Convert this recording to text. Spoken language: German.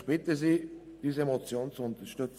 Ich bitte Sie, diese Motion zu unterstützen.